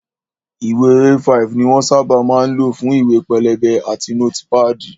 Ìwé A5 ni wón sábà máa ń lò fún ìwé pélébé àti nótípàdì